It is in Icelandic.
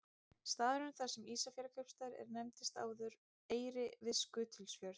Staðurinn þar sem Ísafjarðarkaupstaður er nefndist áður Eyri við Skutulsfjörð.